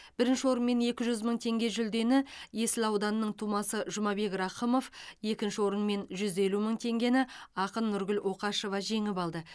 бірінші орын мен екі жүз мың теңге жүлдені есіл ауданының тумасы жұмабек рақымов екінші орын мен жүз елу мың теңгені ақын нұргүл оқашева жеңіп алды